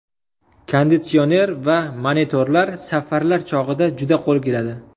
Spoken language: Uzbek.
Konditsioner va monitorlar safarlar chog‘ida juda qo‘l keladi.